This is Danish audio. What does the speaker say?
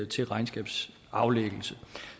til regnskabsaflæggelse